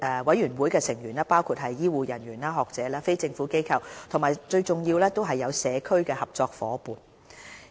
委員會的成員包括醫護人員、學者、非政府機構和最重要的社區合作夥伴。